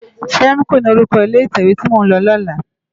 Fèmkó ni órúkò ilé itèwé ti mó n lò lòlá